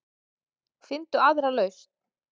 Finndu aðra lausn.